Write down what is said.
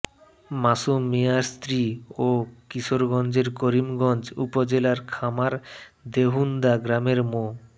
মাসুম মিয়ার স্ত্রী ও কিশোরগঞ্জের করিমগঞ্জ উপজেলার খামার দেহুন্দা গ্রামের মো